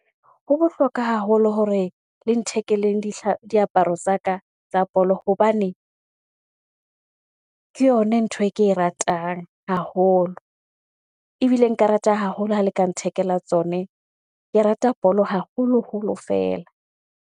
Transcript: Ho bohlokwa haholo hore le nthekeleng diaparo tsa ka tsa bolo hobane ke yona ntho e ke e ratang haholo. Ebile nka rata haholo ha le ka nthekela tsone. Ke rata bolo haholoholo feela.